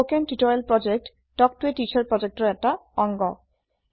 কথন শিক্ষণ প্ৰকল্প তাল্ক ত a টিচাৰ প্ৰকল্পৰ এটা অংগ